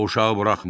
O uşağı buraxmırdı.